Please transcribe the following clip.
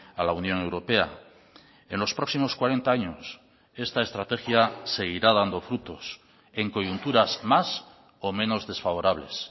a la unión europea en los próximos cuarenta años esta estrategia seguirá dando frutos en coyunturas más o menos desfavorables